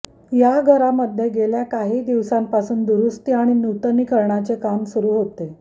या घरामध्ये गेल्या काही दिवसांपासून दुरुस्ती आणि नूतनीकरणाचे काम सुरु होते